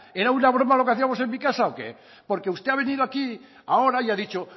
era una broma lo que hacíamos en mi casa o qué porque usted ha venido aquí ahora y ha dicho